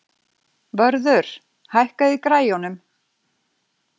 Vörður, hækkaðu í græjunum.